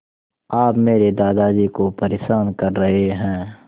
आप मेरे दादाजी को परेशान कर रहे हैं